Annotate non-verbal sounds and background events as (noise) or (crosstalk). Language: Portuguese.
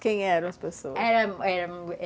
Quem eram as pessoas? (unintelligible)